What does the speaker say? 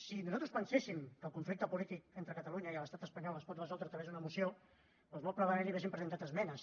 si nosaltres penséssim que el conflicte polític entre catalunya i l’estat espanyol es pot resoldre a través d’una moció doncs molt probablement hi hauríem presentat esmenes